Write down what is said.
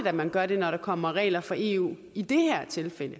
at man gør det når der kommer regler fra eu i det her tilfælde